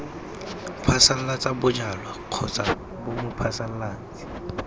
phasalatsa bojalwa kgotsa b mophasalatsi